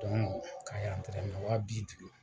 ka yan tɛrɛmɛ wa bi duuru.